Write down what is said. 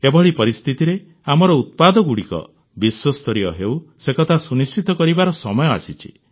ଏଭଳି ପରିସ୍ଥିତିରେ ଆମର ଉତ୍ପାଦଗୁଡ଼ିକ ବିଶ୍ୱସ୍ତରୀୟ ହେଉ ସେକଥା ସୁନିଶ୍ଚିତ କରିବାର ସମୟ ଆସିଛି